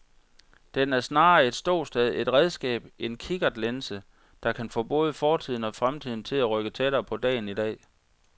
Den er snarere et ståsted, et redskab, en kikkertlinse, der kan få både fortiden og fremtiden til at rykke tættere på dagen i dag.